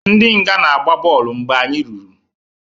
Ndi nga na-agba bọọlụ mgbe anyị ruru